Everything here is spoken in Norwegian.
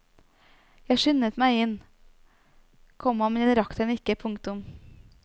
Jeg skyndet meg inn, komma men jeg rakk den ikke. punktum